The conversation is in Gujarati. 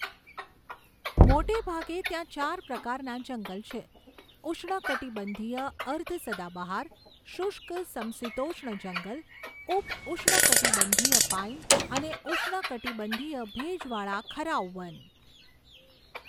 મોટે ભાગે ત્યાં ચાર પ્રકારના જંગલ છે, ઉષ્ણકટિબંધીય અર્ધ સદાબહાર, શુષ્ક સમશીતોષ્ણ જંગલ, ઉપ ઉષ્ણકટિબંધીય પાઇન અને ઉષ્ણકટિબંધીય ભેજવાળા ખરાઉ વન.